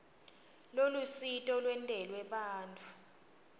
lolusito lwentelwe bantfu